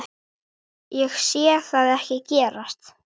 Ég sé það ekki gerast.